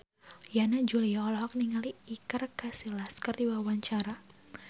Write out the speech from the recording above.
Yana Julio olohok ningali Iker Casillas keur diwawancara